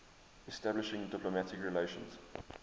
establishing diplomatic relations